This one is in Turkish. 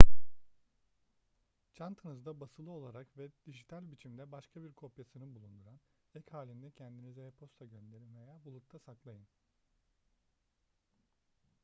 çantanızda basılı olarak ve dijital biçimde başka bir kopyasını bulundurun ek halinde kendinize e-posta gönderin veya bulutta saklayın